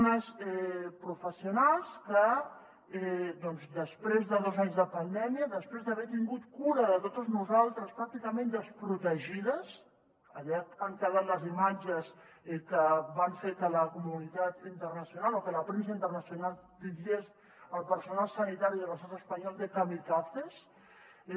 unes professionals que després de dos anys de pandèmia després d’haver tingut cura de totes nosaltres pràcticament desprotegides allà han quedat les imatges que van fer que la comunitat internacional o que la premsa internacional titllés el personal sanitari de l’estat espanyol de kamikazes